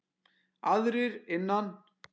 Aðrir innan